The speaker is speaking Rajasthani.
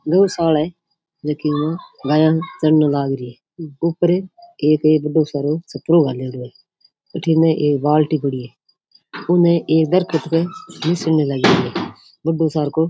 गौशाला है जेकीमा गाया चरने लाग री है ऊपर छाप्रो घालेडो है भटीने एक बाल्टी पड़ी है उनने एक दरखत ने एक निसैनी लगी है बड्डो सार को।